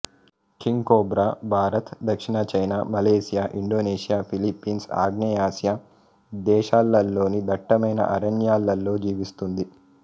king cobra Bharat దక్షిణ China Malaysia Indonesia Philippines ఆగ్నేయ Asia దేశాలలోని దట్టమైన అరణ్యాలలో జీవిస్తుంది